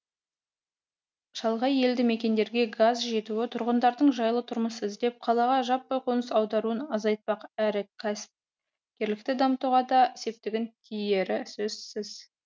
шалғай елді мекендерге газ жетуі тұрғындардың жайлы тұрмыс іздеп қалаға жаппай қоныс аударуын азайтпақ әрі кәсіпкерлікті дамытуға да септігі тиері сөзсіз